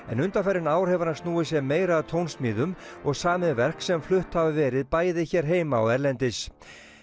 en undanfarin ár hefur hann snúið sér meira að tónsmíðum og samið verk sem flutt hafa verið bæði hér heima og erlendis